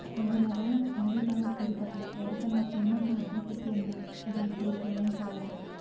రెండున్నరేళ్ల మోడీ పాలన తీరు పట్ల ఎవరికన్నా ఏమాత్రం అసంతృప్తి వున్నా అది ఇప్పుడు మాయం కావాలి